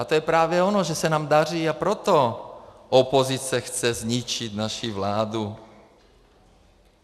A to je právě ono, že se nám daří, a proto opozice chce zničit naši vládu.